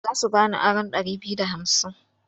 Za su ba ni aron ɗari biyu da hamsin.